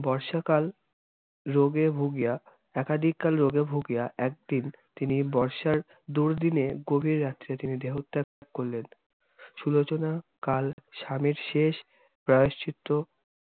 বর্ষাকাল রোগে ভুগিয়া- একাধিককাল রোগে ভুগিয়া, একদিন তিনি বর্ষার দুর্দিনে গভির রাত্রে তিনি দেহত্যাগ করলেন সুলোচনা কাল স্বামীর শেষ প্রায়শ্চিত্ত